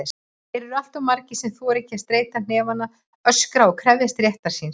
Þeir eru alltof margir sem þora ekki að steyta hnefana, öskra og krefjast réttar síns.